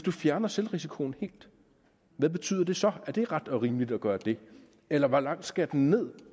fjerner selvrisikoen helt hvad betyder det så er det ret og rimeligt at gøre det eller hvor langt skal den ned